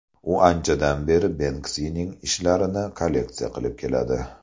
U anchadan beri Benksining ishlarini kolleksiya qilib keladi.